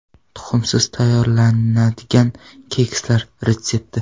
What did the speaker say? Tuxumsiz tayyorlanadigan kekslar retsepti.